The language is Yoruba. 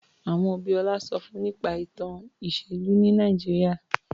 Àwọn òbí Ọlá sọ fún nípa ìtàn ìṣèlú ní Nàìjíríà.